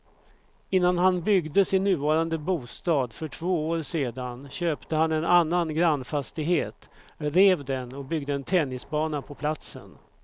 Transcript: Innan han byggde sin nuvarande bostad för två år sedan köpte han en annan grannfastighet, rev den och byggde en tennisbana på platsen.